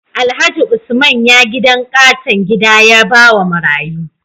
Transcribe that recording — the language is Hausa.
Alhaji usman ya gidan katon gida yabawa marayu